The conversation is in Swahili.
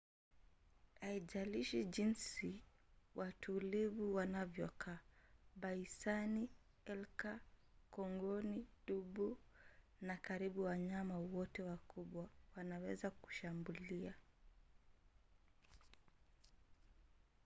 haijalishi jinsi watulivu wanavyokaa baisani elki kongoni dubu na karibu wanyama wote wakubwa wanaweza kushambulia